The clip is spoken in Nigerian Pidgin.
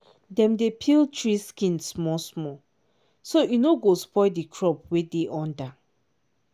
dem dey peel tree skin small small so e no go spoil the crop wey dey under